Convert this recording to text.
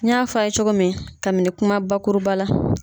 N y'a fɔ a ye cogo min, kabini kuma bakuruba la.